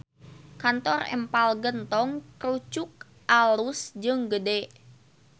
Kantor Empal Gentong Krucuk alus jeung gede